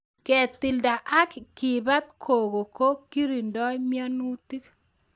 Ketilda ak kepat koko ko lirindoi mianutik